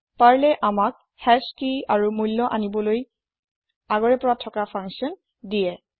Perlএ আমাক হাশ কি আৰু মূল্য আনিবলৈ ইন বিল্ত্ ফাঙ্কচ্যন দিয়ে